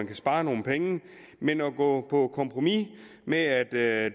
kan spares nogle penge men at gå på kompromis med at